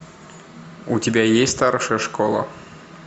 у тебя есть старшая школа